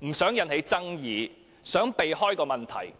不想引起爭議，力圖迴避問題。